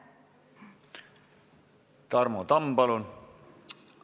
Tarmo Tamm, palun!